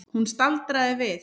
Hún staldraði við.